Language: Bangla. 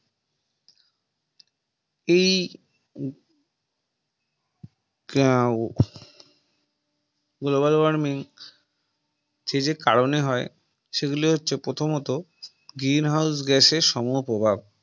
এই Global warming সে যে কারনে হয় সেগুলো হচ্ছে প্রথমত Green House Gas এর সম প্রভাব